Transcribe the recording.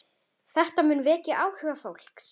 Þetta mun vekja áhuga fólks.